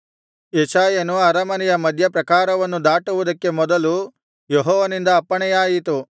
ಯೆಶಾಯನು ಅರಮನೆಯ ಮಧ್ಯಪ್ರಾಕಾರವನ್ನು ದಾಟುವುದಕ್ಕೆ ಮೊದಲು ಯೆಹೋವನಿಂದ ಅಪ್ಪಣೆಯಾಯಿತು